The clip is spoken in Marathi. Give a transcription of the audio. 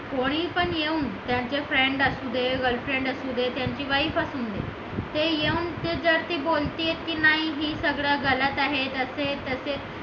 कोणी पण येऊन त्यांच्या friends असू दे girlfriend असू दे की wife असू दे ते येऊन जर ते बोलते की नाही हे गलत आहे तर ते